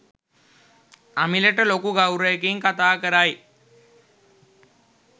අමිලට ලොකු ගෞවරයකින් කතා කරයි.